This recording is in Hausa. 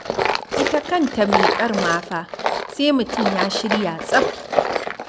Ita kanta miƙar ma fa sai mutum ya shirya tsaf.